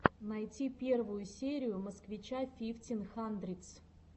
найти первую серию москвича фифтин хандридс